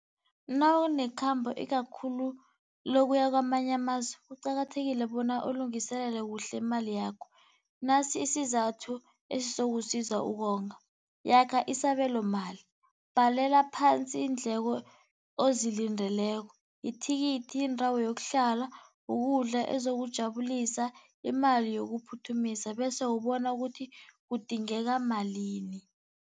Nawunekhambo ikakhulu lokuya kwamanye amazwe kuqakathekile bona ulungiselele kuhle imali yakho. Nasi isizathu esizokusiza ukonga, yakha isabelomali, bhalela phansi iindleko ozilindekoleko, ithikithi, indawo yokuhlala, ukudla, ezokujabulisa, imali yokuphuthumisa bese ubona ukuthi kudingeka malini.